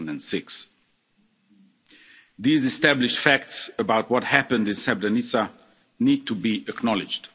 in 2006. These established facts about what happened in Srebrenica need to be acknowledged.